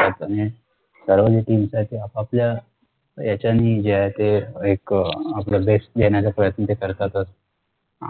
आणि सर्वजण team आपापल्या ह्याच्यांनी जे आहे ते एक आपला best देण्याचा ते प्रयत्न करतातच